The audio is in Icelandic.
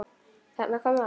Þarna kom það!